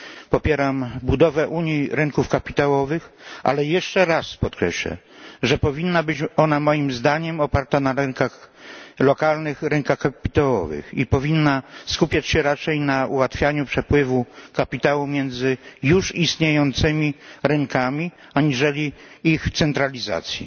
Popieram budowę unii rynków kapitałowych, ale jeszcze raz podkreślam, że powinna być ona moim zdaniem oparta na lokalnych rynkach kapitałowych i powinna skupiać się raczej na ułatwianiu przepływu kapitału między już istniejącymi rynkami aniżeli ich centralizacji.